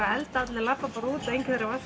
að elda við löbbum bara út og enginn þarf að